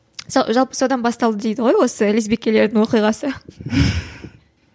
жалпы содан басталды дейді ғой осы лесбикелердің оқиғасы